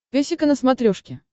песика на смотрешке